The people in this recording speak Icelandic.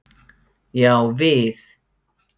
Já, við.